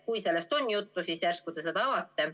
Kui sellest on juttu olnud, siis järsku te seda avate.